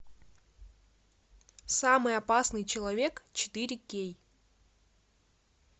самый опасный человек четыре кей